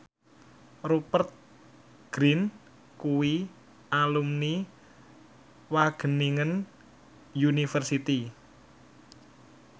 Rupert Grin kuwi alumni Wageningen University